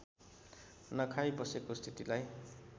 नखाई बसेको स्थितिलाई